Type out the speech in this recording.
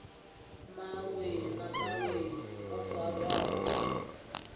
mawe na mawe o farwaho